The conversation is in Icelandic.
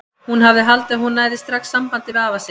Hún hafði haldið að hún næði strax sambandi við afa sinn.